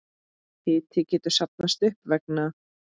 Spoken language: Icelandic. Hiti getur safnast upp vegna